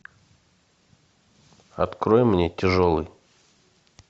открой мне тяжелый